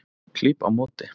Klíp á móti.